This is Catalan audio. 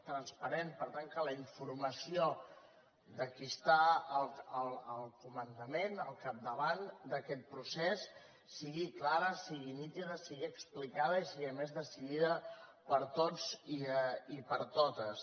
transparent que la informació de qui està al comandament al capdavant d’aquest procés sigui clara sigui nítida sigui explicada i sigui a més decidida per tots i per totes